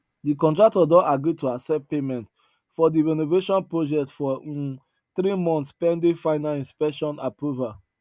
de contractor don agree to accept payment for de renovation project for um three months pending final inspection approval